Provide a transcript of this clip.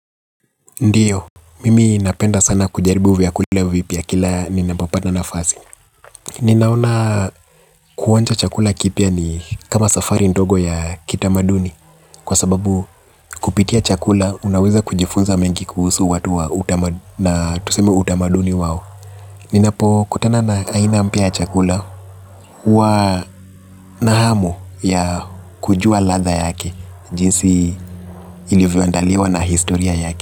Ndiyo, mimi napenda sana kujaribu vyakulia vipya kila ninapopata nafasi. Ninaona kuonja chakula kipya ni kama safari ndogo ya kitamaduni. Kwa sababu kupitia chakula, unaweza kujifunza mengi kuhusu watu wa utama na tuseme utamaduni wao. Ninapokutana na aina mpya ya chakula huwa na hamu ya kujua ladha yake, jinsi ilivyoandaliwa na historia yake.